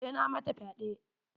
Sai na mata fyaɗe.